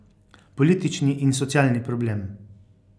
Politični in socialni problem.